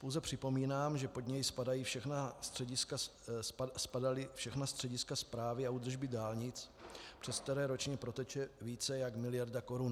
Pouze připomínám, že pod něj spadala všechna střediska správy a údržby dálnic, přes která ročně proteče více než miliarda korun.